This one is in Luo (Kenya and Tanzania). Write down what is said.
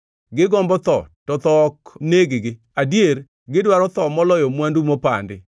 gigombo tho, to tho ok neg-gi, adier, gidwaro tho moloyo mwandu mopandi,